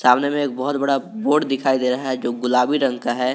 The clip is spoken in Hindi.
सामने में एक बहोत बड़ा बोर्ड दिखाई दे रहा है जो गुलाबी रंग का है।